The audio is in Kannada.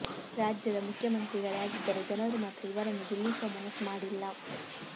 ರಾಜ್ಯದ ಮುಖ್ಯಮಂತ್ರಿಗಳೇ ಆಗಿದ್ದರು ಜನರು ಮಾತ್ರ ಇವರನ್ನು ಗೆಲ್ಲಿಸುವ ಮನಸ್ಸು ಮಾಡಿಲ್ಲ